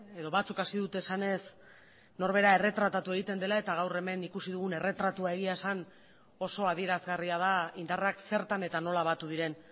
edo batzuk hasi dute esanez norbera erretratatu egiten dela eta gaur hemen ikusi dugun erretratua egia esan oso adierazgarria da indarrak zertan eta nola batu diren